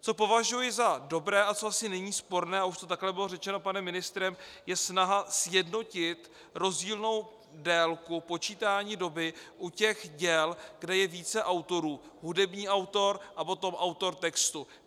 Co považuji za dobré a co asi není sporné, a už to také bylo řečeno panem ministrem, je snaha sjednotit rozdílnou délku počítání doby u těch děl, kde je více autorů - hudební autor a potom autor textu.